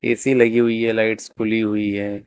AC लगी हुई है लाइट्स खुली हुई है।